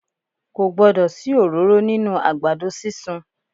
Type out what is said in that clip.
Ko gbọdọ̀ sí òróró nínú àgbàdo sísun.